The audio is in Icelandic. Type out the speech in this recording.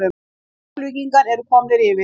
KEFLVÍKINGAR ERU KOMNIR YFIR!!!